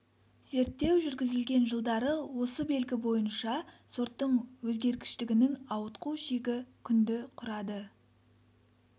зерттеу жүргізілген жылдары осы белгі бойынша сорттың өзгергіштігінің ауытқу шегі күнді құрады